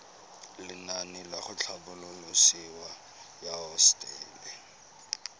lenaane la tlhabololosewa ya hosetele